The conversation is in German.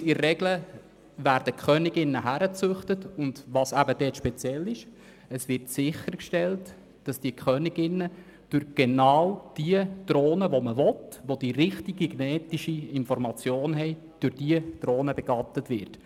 Es werden in der Regel dort auch Königinnen gezüchtet und dafür sichergestellt, dass die Königinnen durch genau die Drohnen, die die richtige genetische Information haben, begattet werden.